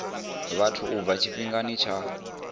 vhathu u bva tshifhingani tsha